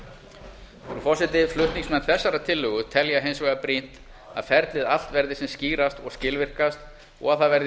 frú forseti flutningsmenn tillögu þessarar telja hins vegar brýnt að ferlið allt verði sem skýrast og skilvirkast og að það verði